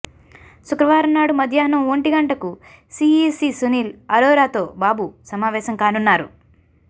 శుక్రవారం నాడు మధ్యాహ్నం ఒంటి గంటకు సీఈసీ సునీల్ ఆరోరాతో బాబు సమావేశం కానున్నారు